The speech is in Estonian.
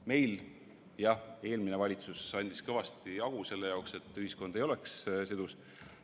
Meil, jah, eelmine valitsus andis kõvasti hagu selle jaoks, et ühiskond ei oleks sidus.